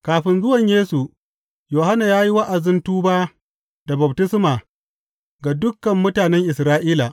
Kafin zuwan Yesu, Yohanna ya yi wa’azin tuba da baftisma ga dukan mutanen Isra’ila.